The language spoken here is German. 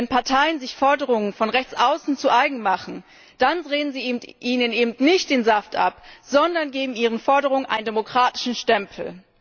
Wenn Parteien sich Forderungen von rechts außen zu eigen machen, dann drehen sie den Rechten eben nicht den Saft ab, sondern geben ihren Forderungen einen demokratischen Stempel.